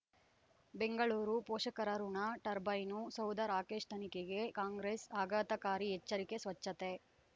ಬೆಂಗಳೂರು ಪೋಷಕರಋಣ ಟರ್ಬೈನು ಸೌಧ ರಾಕೇಶ್ ತನಿಖೆಗೆ ಕಾಂಗ್ರೆಸ್ ಆಘಾತಕಾರಿ ಎಚ್ಚರಿಕೆ ಸ್ವಚ್ಛತೆ